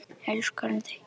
Elskar hún þig?